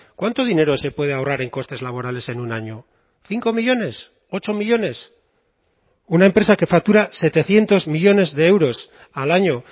cuánto dinero se puede ahorrar en costes laborales en un año cinco millónes ocho millónes una empresa que factura setecientos millónes de euros al año